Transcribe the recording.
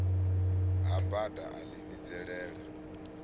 ha bada a ḽi vhidzelela